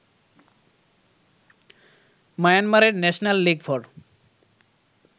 মায়ানমারের National League for